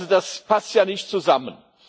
Das passt ja nicht zusammen.